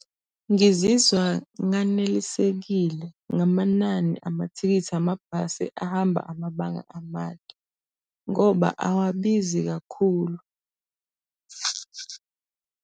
Ngizizwa nganelisekile ngamanani amathikithi amabhasi ahamba amabanga amade, ngoba awabizi kakhulu.